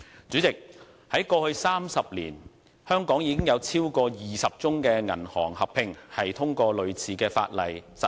主席，在過去30年，香港已有超過20宗銀行合併，通過類似法例實行。